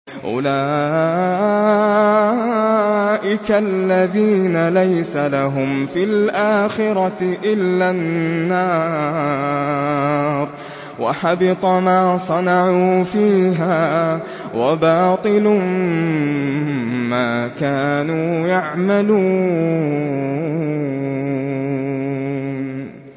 أُولَٰئِكَ الَّذِينَ لَيْسَ لَهُمْ فِي الْآخِرَةِ إِلَّا النَّارُ ۖ وَحَبِطَ مَا صَنَعُوا فِيهَا وَبَاطِلٌ مَّا كَانُوا يَعْمَلُونَ